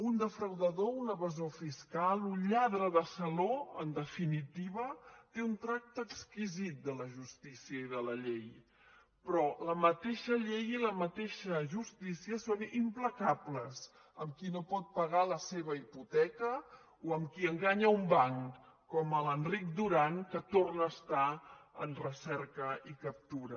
un defraudador un evasor fiscal un lladre de saló en definitiva té un tracte exquisit de la justícia i de la llei però la mateixa llei i la mateixa justícia són implacables amb qui no pot pagar la seva hipoteca o amb qui enganya un banc com l’enric duran que torna a estar en recerca i captura